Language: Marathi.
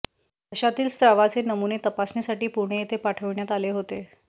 घशातील स्रावाचे नमुने तपासणीसाठी पुणे येथे पाठविण्यात आले होते